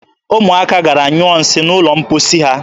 Ụmụaka gara nyụọ nsị n'ụlọ mposi ahụ.